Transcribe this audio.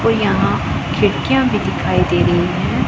और यहां खिड़कियां भी दिखाई दे रही हैं।